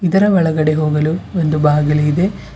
ಇದರ ಒಳಗಡೆ ಹೋಗಲು ಒಂದು ಬಾಗಿಲು ಇದೆ.